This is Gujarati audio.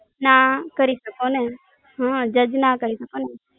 ના કરી શકોને, હા જજ ના કરી શકોને